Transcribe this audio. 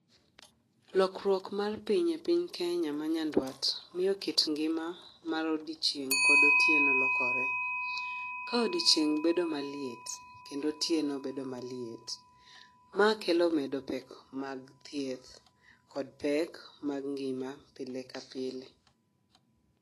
Lokruok mar piny e piny Kenya ma nyandwat miyo kit ngima ma odiochieng kod otieno lokore ka odiochieng bedo maliet kendo otieno bedo maliet. Ma kelo medo pek mag thieth kod pek mar ngima pile ka pile